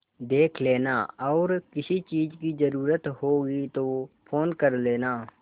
देख लेना और किसी चीज की जरूरत होगी तो फ़ोन कर लेना